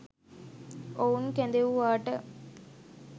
ඔවුන් කැදෙව්වාට